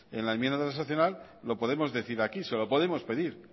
en la enmienda transaccional lo podemos decir aquí se lo podemos pedir